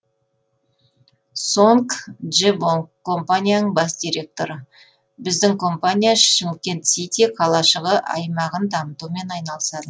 сонг джебонг компанияның бас директоры біздің компания шымкент сити қалашығы аймағын дамытумен айналысады